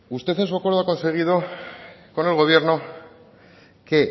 usted en su acuerdo ha conseguido con el gobierno que